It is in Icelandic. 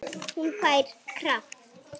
Hún fær kraft.